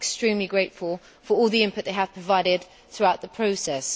I am extremely grateful for all the input they have provided throughout the process.